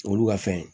Olu ka fɛn